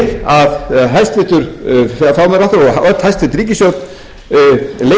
að hæstvirtur fjármálaráðherra og öll hæstvirt ríkisstjórn leiti til stjórnarandstöðunnar um lausnir á þeim vanda